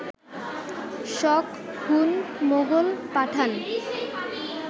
শক, Hun, Mughal, পাঠান